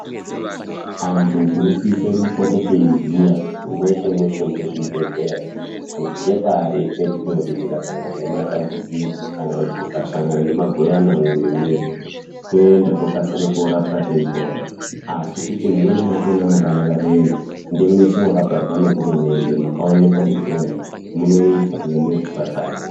Andu tinosisa kupote teyiziya mweshe mweshe mune zvibhedhleya kuti ndepaari petinoti tikasangana nematambudziko kana kuti tikasangana nemagoyana mumuwiri mwedu totenda tokasire kurapwa teyipora asi kuti mumweni macho mwakaparwa ngehurumende kuti umwu munoita ende munge munezvipatara.